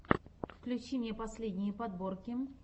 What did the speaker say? включи мне последние подборки